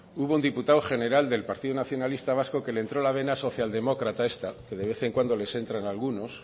hubo un diputado general del partido nacionalista vasco que le entró la vena social demócrata esta que de vez en cuando les entran a algunos